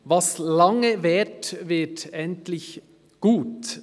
Was lange währt, wird endlich gut.